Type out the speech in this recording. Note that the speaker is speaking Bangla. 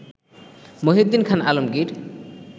মহীউদ্দীন খান আলমগীর